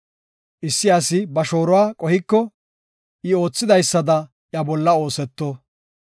Issi asi ba shooruwa qohiko, I oothidaysada iya bolla ooseto.